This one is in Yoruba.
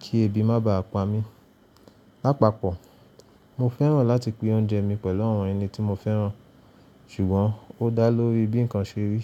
kí ebi má bàá pa mí. Lápapọ̀, mo fẹ́ràn láti pín oúnjẹ mi pẹ̀lú àwọn ẹni tí mo fẹ́ràn, ṣùgbọ́n ó dá lórí bí nǹkan ṣe rí.